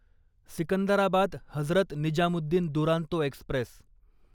Secunderabad Hazrat Nizamuddin Duronto Express